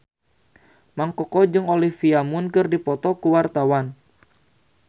Mang Koko jeung Olivia Munn keur dipoto ku wartawan